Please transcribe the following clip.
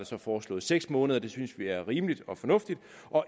så foreslået seks måneder og det synes vi er rimeligt og fornuftigt